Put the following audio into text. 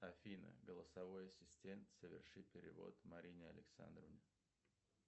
афина голосовой ассистент соверши перевод марине александровне